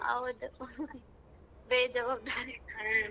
ಹೌದು ಬೇಜವಾಬ್ದಾರಿ.